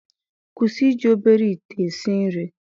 kwụsị iji obere ite esi nri